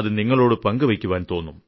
അത് നിങ്ങളോട് പങ്കുവെയ്ക്കുവാൻ തോന്നും